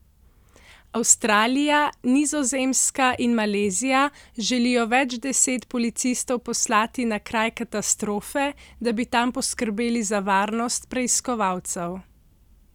Avstralija, Nizozemska in Malezija želijo več deset policistov poslati na kraj katastrofe, da bi tam poskrbeli za varnost preiskovalcev.